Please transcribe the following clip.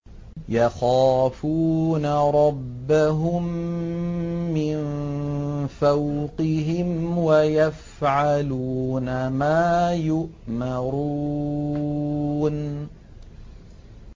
يَخَافُونَ رَبَّهُم مِّن فَوْقِهِمْ وَيَفْعَلُونَ مَا يُؤْمَرُونَ ۩